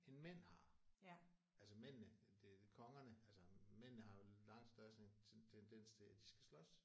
End mænd har. Altså mændene det kongerne altså mændene har jo langt større sådan tendens til at de skal slås